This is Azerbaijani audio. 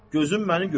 Gözüm üstə.